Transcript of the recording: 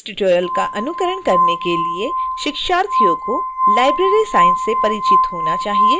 इस tutorial का अनुकरण करने के लिए शिक्षार्थियों को library science से परिचित होना चाहिए